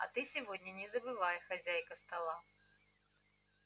а ты сегодня не забывай хозяйка стола